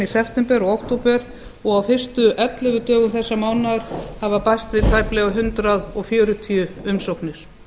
september og október og á fyrstu ellefu dögum þessa mánaðar hafa bæst við tæplega hundrað fjörutíu umsóknir